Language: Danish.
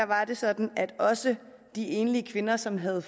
var det sådan at også de enlige kvinder som havde